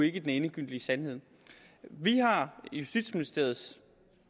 ikke den endegyldige sandhed vi har justitsministeriets